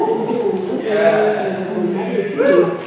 ఇంటి ముందు యేసయ్య సిలువ బొమ్మ వేసి ఉన్నది.